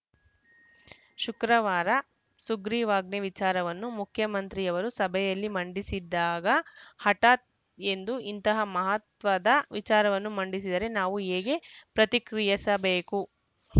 ಶುಕ್ರವಾರ ಸುಗ್ರೀವಾಜ್ಞೆ ವಿಚಾರವನ್ನು ಮುಖ್ಯಮಂತ್ರಿಯವರು ಸಭೆಯಲ್ಲಿ ಮಂಡಿಸಿದಾಗ ಹಠಾತ್‌ ಎಂದು ಇಂತಹ ಮಹತ್ವದ ವಿಚಾರವನ್ನು ಮಂಡಿಸಿದರೆ ನಾವು ಹೇಗೆ ಪ್ರತಿಕ್ರಿಯಿಸಬೇಕು